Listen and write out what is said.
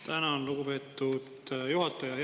Tänan, lugupeetud juhataja!